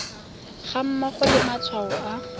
ga mmogo le matshwao a